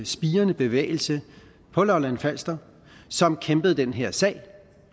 spirende bevægelse på lolland falster som kæmpede for den her sag